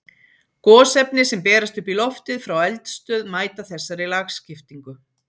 Gosefni sem berast upp í loftið frá eldstöð mæta þessari lagskiptingu.